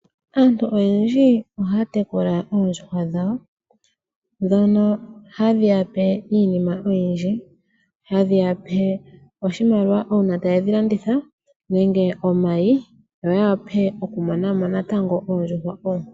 Aantu oyendji ohaya tekula oondjuhwa dhawo dhono hadhi ya pe iinima oyindji, hadhi yape oshimaliwa uuna taye dhi landitha nenge omayi, yo ya wape okumona mo natango oondjuhwa oonkwawo.